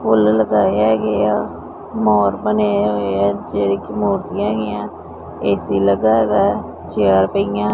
ਫੁੱਲ ਲਗਾਏ ਹੈਗੇ ਆ ਮੋਰ ਬਣੇ ਹੋਏ ਐ ਇਥੇ ਇਕ ਮੋਰਨੀ ਹੈਗੀ ਐ ਏ_ਸੀ ਲੱਗਿਆ ਹੈਗਾ ਚੇਅਰ ਪਈਆਂ --